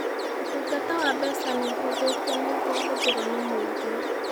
Ũtungata wa mbeca nĩ ũhũthĩtio nĩguo ũhũthĩrũo nĩ mũingĩ